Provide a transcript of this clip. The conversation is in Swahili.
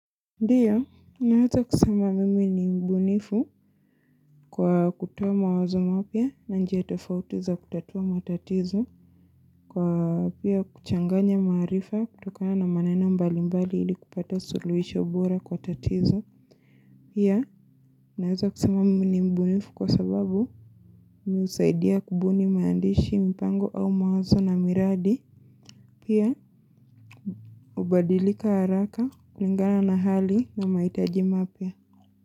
Ndiyo, naweza kusema mimi ni mbunifu kwa kutoa mawazo mapya na njia tofauti za kutatua matatizo kwa pia kuchanganya maarifa kutokana na manena mbali mbali ili kupata suluhisho bora kwa tatizo. Pia, naweza kusema mimi ni mbunifu kwa sababu mimi husaidia kubuni maandishi mpango au mawazo na miradi. Pia, hubadilika haraka, kulingana na hali na mahitaji mapya.